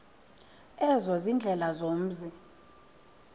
ezo ziindlela zomzi